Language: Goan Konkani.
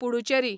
पुडुचॅरी